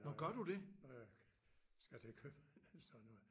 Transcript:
Når jeg når jeg skal til købmanden eller sådan noget